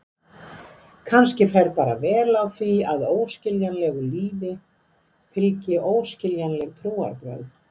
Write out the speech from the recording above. Kannski fer bara vel á því að óskiljanlegu lífi fylgi óskiljanleg trúarbrögð.